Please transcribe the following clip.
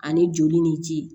Ani joli ni ci